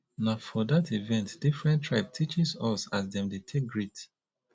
na for dat event differn tribe teaches us as dem dey take greet